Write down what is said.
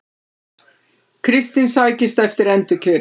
Kristinn sækist eftir endurkjöri